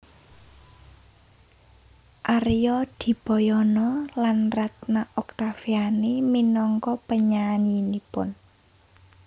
Arya Dipayana lan Ratna Octaviani minangka penyanyinipun